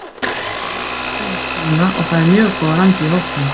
Við höfum aldrei misst trúna og það er mjög góður andi í hópnum.